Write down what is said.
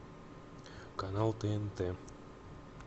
канал тнт